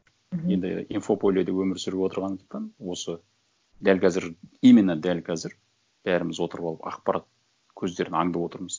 мхм енді инфополеде өмір сүріп отырғандықтан осы дәл қазір именно дәл қазір бәріміз отырып алып ақпарат көздерін аңдып отырмыз